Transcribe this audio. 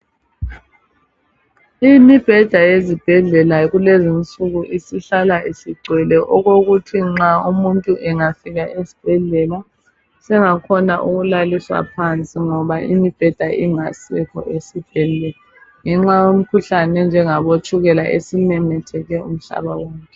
Imibheda yeZibhedlela yakulezinsuku isihlala isigcwele okokuthi nxa umuntu angafika esibhedlela sengakhona ukulaliswa phansi, ngoba imibheda ingasekho ngenxa yemkhuhlane enjengabo tshukela esimemetheke umhlaba wonke.